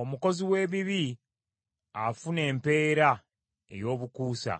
Omukozi w’ebibi afuna empeera ey’obukuusa,